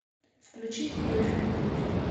включи видеофильм бруклин